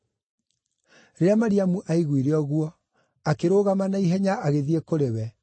Rĩrĩa Mariamu aiguire ũguo, akĩrũgama na ihenya agĩthiĩ kũrĩ we.